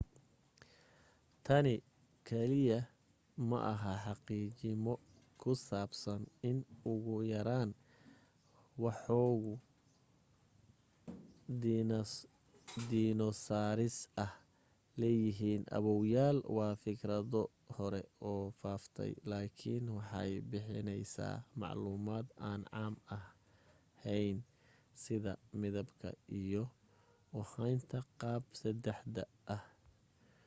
tani kaiya maaha xaqiijimo ku saabsan in ugu yaraan woxogaa dinosaaris ah leeyihiin aaboyaal waa fikradu hore u faaftay lakiin waxay bixinaysaa macluumad aan caam ahayn sida midabka iyo u haynta qaab 3d ah